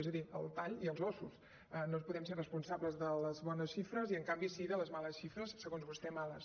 és a dir el tall i els ossos no podem ser responsables de les bones xifres i en canvi sí de les males xifres segons vostè males